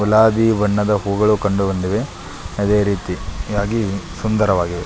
ಗುಲಾಬಿ ಬಣ್ಣದ ಹೂವುಗಳು ಕಂಡುಬಂದಿವೆ ಅದೆ ರೀತಿಯಾಗಿ ಸುಂದರವಾಗಿವೆ.